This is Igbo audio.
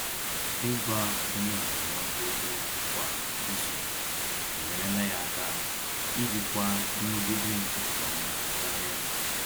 Ịgwa onye ndụmọdụ okwu kwa izu enyerela ya aka ijikwa nrụgide nke ọma karịa.